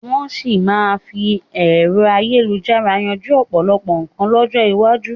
Wọn sì máa fi ẹ̀rọ ayélujára yanjú ọ̀pọ̀lọpọ̀ nkan lọ́jọ́ iwájú